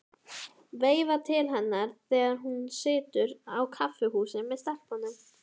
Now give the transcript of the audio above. Veifa til hennar þegar hún situr á kaffihúsi með stelpunum.